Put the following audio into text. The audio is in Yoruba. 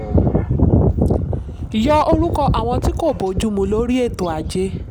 yọ orúkọ àwọn tí kò bójú mu lórí ètò ajé.